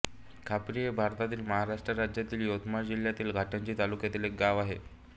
खापरी हे भारतातील महाराष्ट्र राज्यातील यवतमाळ जिल्ह्यातील घाटंजी तालुक्यातील एक गाव आहे